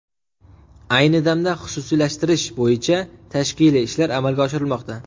Ayni damda xususiylashtirish bo‘yicha tashkiliy ishlar amalga oshirilmoqda.